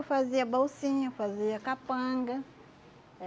Eu fazia bolsinha, fazia capanga.